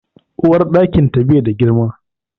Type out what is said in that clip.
Uwarɗakin ta bai da girma